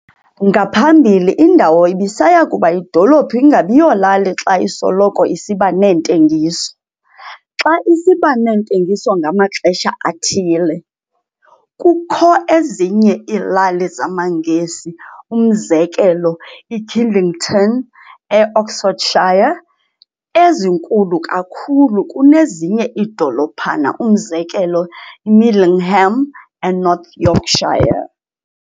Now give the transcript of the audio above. Ngaphambili indawo ibisaya kuba yidolophu ingabiyolali, xa isoloko isiba neentengiso, xa isiba neentengiso ngamaxesha athile. Kukho ezinye iilali zamaNgesi umzekelo, iKidlington, eOxfordshire, ezinkulu kakhulu kunezinye iidolophana, umzekelo eMiddleham, eNorth Yorkshire.